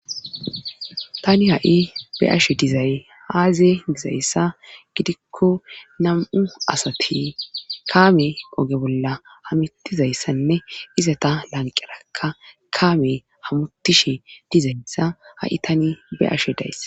tani ha7i be ashe dizay haaze dizayssa gidikko nam7u asati kaame oge bolla hamutizayssanne iza ta lanqerakka kaame hamutishe dizayssa ha7i tani be'ashe dayss